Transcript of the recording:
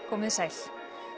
komið þið sæl